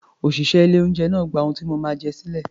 Òṣìṣẹ́ ilé-oúnjẹ náà gba ohun tí mo máa jẹ sílẹ̀